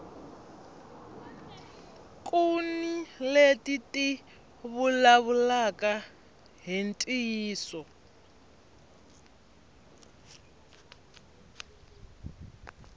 kuni leti ti vulavulaka hi ntiyiso